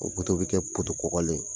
O o bɛ kɛ kɔgɔlen ye.